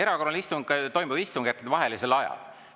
Erakorraline istung toimub istungjärkudevahelisel ajal.